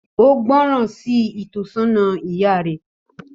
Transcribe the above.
Ó gbọ́ràn sí ìtọ́sọ́nà ìyá rẹ